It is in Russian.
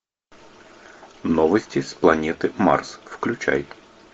новости с планеты марс включай